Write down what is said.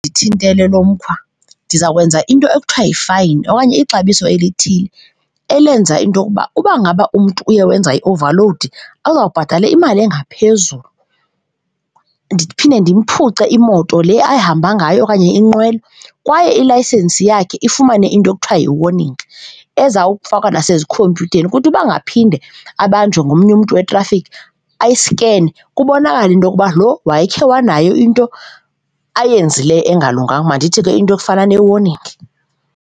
Ndithintele lo mkhwa ndiza kwenza into ekuthiwa yefayini okanye ixabiso elithile elenza into yokuba uba ngaba umntu uye wenza i-overload ozawubhatala imali engaphezulu. Ndiphinde ndimphuce imoto le ahamba ngayo okanye inqwelo kwaye ilayisensi yakhe ifumane into ekuthiwa yi-warning eza kufakwa nasezikhompyutheni. Ukuthi uba angaphinde abanjwe ngomnye umntu wetrafikhi, ayisikene kubonakale into yokuba lo wayekhe wanayo into ayenzileyo engalunganga, mandithi ke into efana ne-warning.